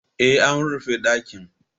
Eh, an rufe ɗakin